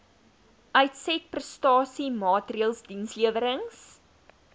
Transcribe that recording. uitsetprestasie maatreëls dienslewerings